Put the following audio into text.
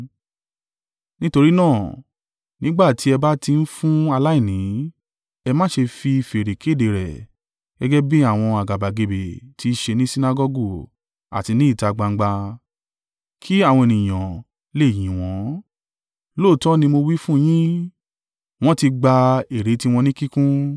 “Nítorí náà, nígbà ti ẹ́ bá ti ń fún aláìní, ẹ má ṣe fi fèrè kéde rẹ̀, gẹ́gẹ́ bí àwọn àgàbàgebè ti í ṣe ní Sinagọgu àti ní ìta gbangba; kí àwọn ènìyàn le yìn wọ́n. Lóòótọ́ ni mo wí fún yín, wọ́n ti gba èrè tí wọn ní kíkún.